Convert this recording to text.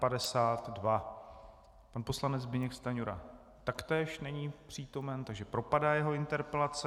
Pan poslanec Zbyněk Stanjura taktéž není přítomen, takže propadá jeho interpelace.